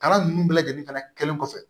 Kalan ninnu bɛɛ lajɛlen fana kɛlen kɔfɛ